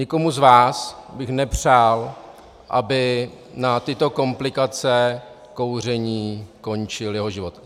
Nikomu z vás bych nepřál, aby na tyto komplikace kouření skončil jeho život.